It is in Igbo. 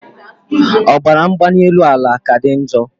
Ọbara mgbanyielu ala ka dị njo